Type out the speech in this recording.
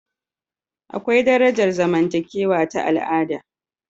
Akwai darajar zamantakewa ta al'ada